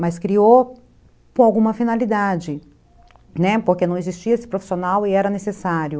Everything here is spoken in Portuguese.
Mas criou com alguma finalidade, né, porque não existia esse profissional e era necessário.